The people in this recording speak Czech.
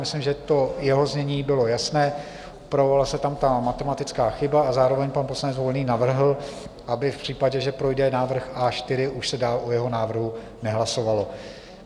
Myslím, že to jeho znění bylo jasné, projevila se tam ta matematická chyba, a zároveň pan poslanec Volný navrhl, aby v případě, že projde návrh A4, už se dál o jeho návrhu nehlasovalo.